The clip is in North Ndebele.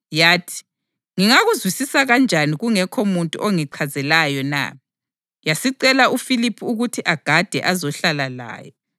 Yathi, “Ngingakuzwisisa kanjani kungekho muntu ongichazelayo na?” Yasicela uFiliphu ukuthi agade azohlala layo.